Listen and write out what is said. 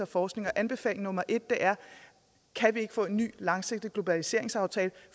forskning og anbefaling nummer en er kan vi ikke få en ny langsigtet globaliseringsaftale